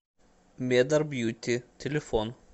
медар бьюти телефон